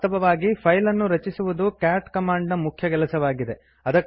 ವಾಸ್ತವವಾಗಿ ಫೈಲ್ ಅನ್ನು ರಚಿಸುವುದು ಕ್ಯಾಟ್ ಕಮಾಂಡ್ ನ ಮುಖ್ಯ ಕೆಲಸವಾಗಿದೆ